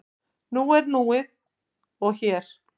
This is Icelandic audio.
Nú er núið og hér.